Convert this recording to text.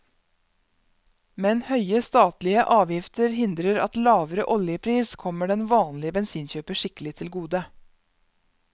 Men høye statlige avgifter hindrer at lavere oljepris kommer den vanlige bensinkjøper skikkelig til gode.